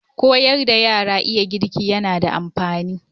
Koyar da yara iya girki yana da amfani.